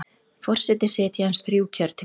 Forseti sitji aðeins þrjú kjörtímabil